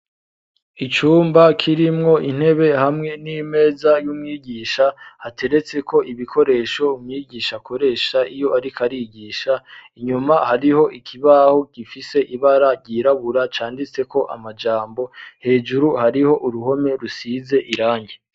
Icumba kirimwo intebe hamwe n'imeza y'umwigisha, hateretseko ibikoresho umwigisha akoresha iyo ariko arigisha, inyuma hariho ikibaho gifise ibara ryirabura canditseko amajambo, hejuru hariho uruhome rusize irangi.